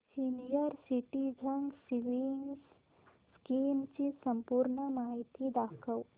senior citizens savings scheme ची संपूर्ण माहिती दाखव